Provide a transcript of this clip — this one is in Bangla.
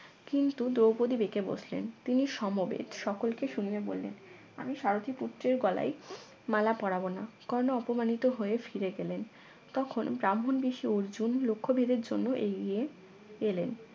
কিন্তু দ্রৌপদী বেঁকে বসলেন তিনি সমবেত সকলকে শুনিয়ে বললেন আমি সারথীপুত্রের গলায় মালা পরাব না কর্ণ অপমানিত হয়ে ফিরে গেলেন তখন ব্রাহ্মন বেশে অর্জুন লক্ষ্যভেদের জন্য এগিয়ে এলেন